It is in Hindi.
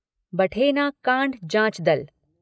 बठेना कांड जांच दल